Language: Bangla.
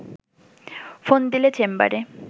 ফোন দিলে চেম্বারে